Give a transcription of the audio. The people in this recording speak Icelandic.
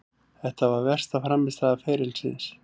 Þetta var versta frammistaða ferilsins.